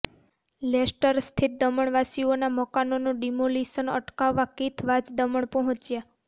લેસ્ટરસ્થિત દમણવાસીઓના મકાનોનું ડિમોલિશન અટકાવવા કિથ વાઝ દમણ પહોંચ્યા